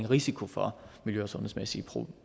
risiko for miljø og sundhedsmæssige